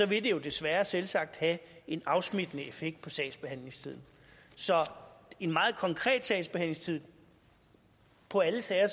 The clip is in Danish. vil det jo desværre selvsagt have en afsmittende effekt på sagsbehandlingstiden så en meget konkret sagsbehandlingstid på alle sager